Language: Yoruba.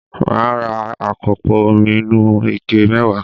Màá ra àkópò omi inú ike mẹ́wàá